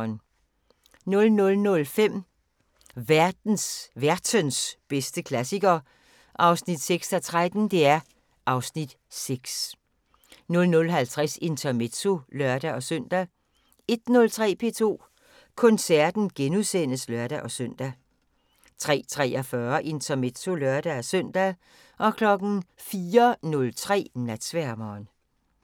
00:05: Værtens bedste klassiker (6:13) (Afs. 6) 00:50: Intermezzo (lør-søn) 01:03: P2 Koncerten *(lør-søn) 03:43: Intermezzo (lør-søn) 04:03: Natsværmeren